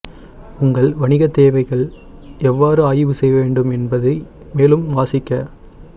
உங்கள் வணிக தேவைகள் எவ்வாறு ஆய்வு செய்ய வேண்டும் என்பதை மேலும் வாசிக்க